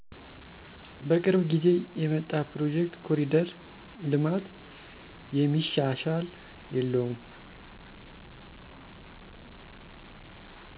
በቅርብ ጊዜ የመጣ ፕሮጀክት ኮሪደር ልማት። የሚሻሽል የለውም